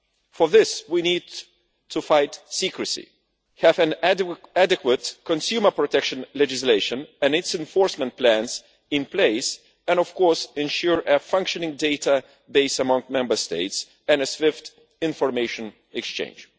For this we need to fight secrecy, have adequate consumer protection legislation and its enforcement plans in place, and of course ensure a functioning database among Member States and swift information exchange.